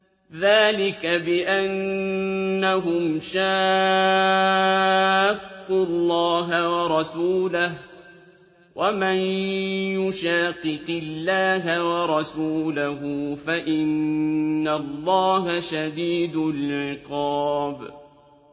ذَٰلِكَ بِأَنَّهُمْ شَاقُّوا اللَّهَ وَرَسُولَهُ ۚ وَمَن يُشَاقِقِ اللَّهَ وَرَسُولَهُ فَإِنَّ اللَّهَ شَدِيدُ الْعِقَابِ